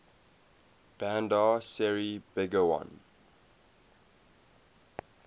bandar seri begawan